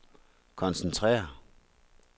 koncentrere